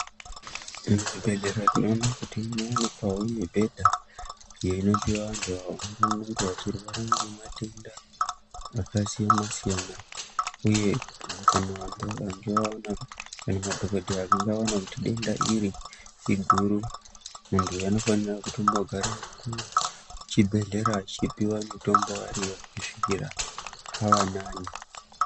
Muzvibhedhlera tinoona kuti munowanikwawo mibhedha iyo inopihwa vantu avo vanenge vachirwara ngematenda akasiyana siyana uye kana vantuvo vakange vaona kana madhokodheya akange aona kuti denda iri iguru muntu uyu anofanira kutombogara kuchibhedhlera achipiwa mitombo ariya kusvikira ava nani.